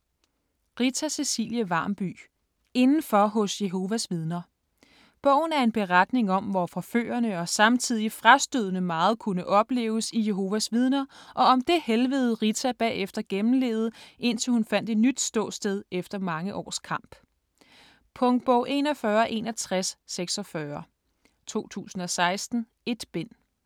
Varmby, Rita Cecilie: Indenfor hos Jehovas vidner Bogen er en beretning om, hvor forførende og samtidig frastødende meget kunne opleves i Jehovas vidner, og om det helvede, Rita bagefter gennemlevede, indtil hun fandt et nyt ståsted efter mange års kamp. Punktbog 416146 2016. 1 bind.